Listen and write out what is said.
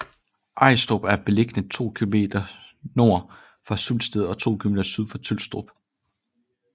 Ajstrup er beliggende to kilometer nord for Sulsted og to kilometer syd for Tylstrup